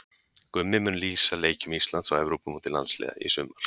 Gummi mun lýsa leikjum Íslands á Evrópumóti landsliða í sumar.